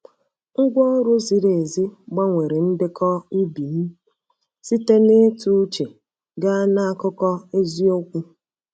Ngwa ọrụ ziri ezi gbanwere ndekọ ubi m site na ịtụ uche gaa na akụkọ eziokwu.